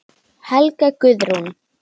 Helga Guðrún.